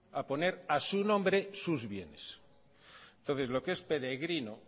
a poner a su nombre sus bienes entonces lo que es peregrino